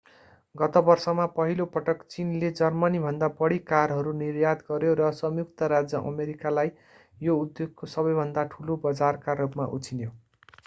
गत वर्षमा पहिलो पटक चीनले जर्मनीभन्दा बढी कारहरू निर्यात गर्‍यो र संयुक्त राज्य अमेरिकालाई यो उद्योगको सबैभन्दा ठूलो बजारका रूपमा उछिन्यो।